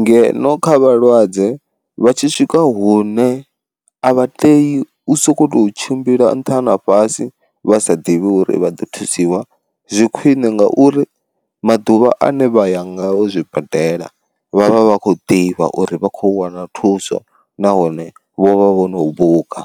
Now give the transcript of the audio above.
ngeno kha vhalwadze vha tshi swika hune a vha tei u sokou tou tshimbila nṱha na fhasi vha sa ḓivhi uri vha ḓo thusiwa, zwi khwine ngauri maḓuvha ane vha ya ngao zwibadela vhavha vha khou ḓivha uri vha khou wana thuso nahone vho vha vho no buka.